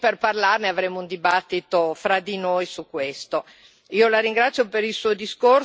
Ne parliamo, siamo qui per parlarne, avremo un dibattito fra di noi su questo.